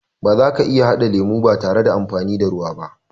Bazaka iya haɗa lemo ba tare da amfani da ruwa ba